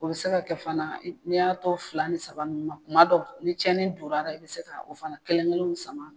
O bɛ se ka kɛ fana n'i y'a tɔ fila ni saba nin ma kuma dɔ ni tiɲɛnni donna i bɛ se ka o fana kelen kelen sama.